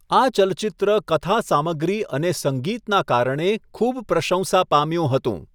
આ ચલચિત્ર કથા સામગ્રી અને સંગીતના કારણે ખૂબ પ્રશંસા પામ્યું હતું.